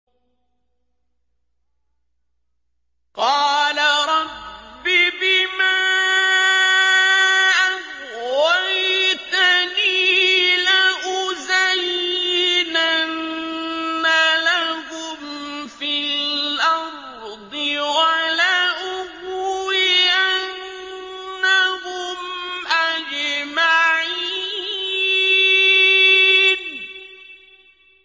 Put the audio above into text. قَالَ رَبِّ بِمَا أَغْوَيْتَنِي لَأُزَيِّنَنَّ لَهُمْ فِي الْأَرْضِ وَلَأُغْوِيَنَّهُمْ أَجْمَعِينَ